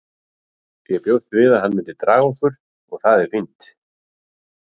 Ég bjóst við að hann myndi draga okkur og það er fínt.